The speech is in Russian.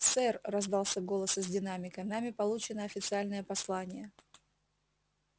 сэр раздался голос из динамика нами получено официальное послание